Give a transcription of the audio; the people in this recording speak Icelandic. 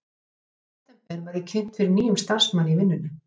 Í september var ég kynnt fyrir nýjum starfsmanni í vinnunni.